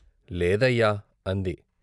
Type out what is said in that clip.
" లేదయ్యా " అంది.